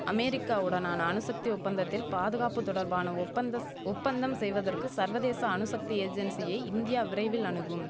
அமெரிக்காவுடனான அணுசக்தி ஒப்பந்தத்தில் பாதுகாப்பு தொடர்பான ஒப்பந்தஸ் ஒப்பந்தம் செய்வதற்கு சர்வதேச அணுசக்தி ஏஜென்சியை இந்தியா விரைவில் அணுகும்